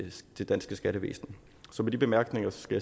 det danske skattevæsen så med de bemærkninger skal